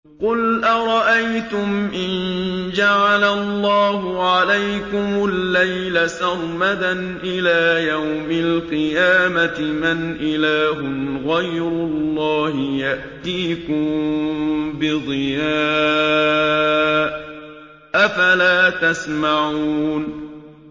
قُلْ أَرَأَيْتُمْ إِن جَعَلَ اللَّهُ عَلَيْكُمُ اللَّيْلَ سَرْمَدًا إِلَىٰ يَوْمِ الْقِيَامَةِ مَنْ إِلَٰهٌ غَيْرُ اللَّهِ يَأْتِيكُم بِضِيَاءٍ ۖ أَفَلَا تَسْمَعُونَ